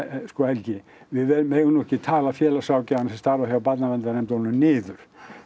sko Helgi við megum nú ekki tala félagsráðgjafana sem starfa hjá barnaverndarnefndunum niður